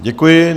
Děkuji.